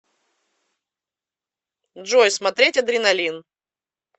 джой смотреть адреналин